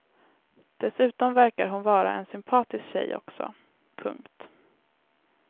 Dessutom verkar hon vara en sympatisk tjej också. punkt